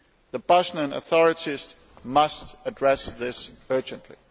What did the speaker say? The Bosnian authorities must address this urgently.